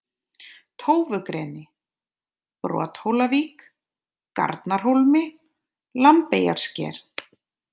Tófugreni, Brothólavík, Garnarhólmi, Lambeyjarsker